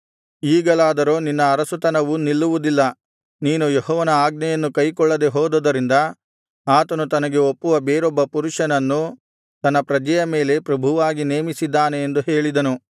ಈಗಲಾದರೋ ನಿನ್ನ ಅರಸುತನವು ನಿಲ್ಲುವುದಿಲ್ಲ ನೀನು ಯೆಹೋವನ ಆಜ್ಞೆಯನ್ನು ಕೈಕೊಳ್ಳದೆ ಹೋದುದರಿಂದ ಆತನು ತನಗೆ ಒಪ್ಪುವ ಬೇರೊಬ್ಬ ಪುರುಷನನ್ನು ತನ್ನ ಪ್ರಜೆಯ ಮೇಲೆ ಪ್ರಭುವಾಗಿ ನೇಮಿಸಿದ್ದಾನೆ ಎಂದು ಹೇಳಿದನು